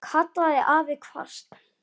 kallaði afi hvasst.